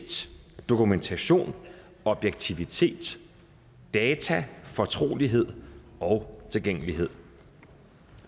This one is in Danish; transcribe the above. dokumentation objektivitet data fortrolighed og tilgængelighed